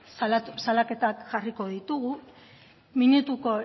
salaketak jarriko ditugu minutuko